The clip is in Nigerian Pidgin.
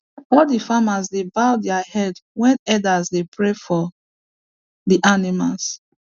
all the farmers dey bow their heads when elders dey pray for the animals